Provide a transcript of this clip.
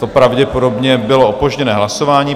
To pravděpodobně bylo opožděné hlasování.